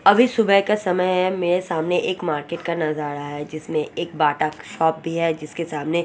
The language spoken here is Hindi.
अभी सुबह का समय है मेरे सामने एक मार्केट का नजारा है जिसमे एक बाटक शॉप भी है जिसके सामने--